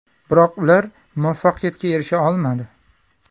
Biroq ular muvaffaqiyatga erisha olmadi.